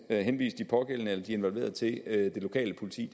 at henvise de pågældende de involverede til det lokale politi